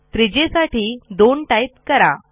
त्रिज्येसाठी 2 type करा